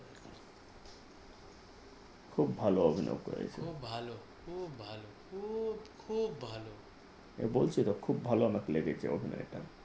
খুব ভালো অভিনয় করেছেন খুব ভালো খুব ভালো খুব খুব ভালো বলছি তো খুব ভালো লেগেছে অভিনয়টা